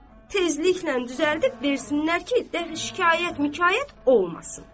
Tezliklə düzəldib versinlər ki, deyi şikayət-mikayət olmasın.